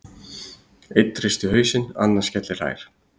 Einn hristir hausinn, annar skellihlær.